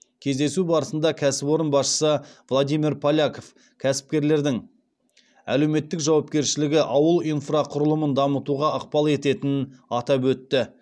кездесу барысында кәсіпорын басшысы владимир поляков кәсіпкерлердің әлеуметтік жауапкершілігі ауыл инфрақұрылымын дамытуға ықпал ететінін атап өтті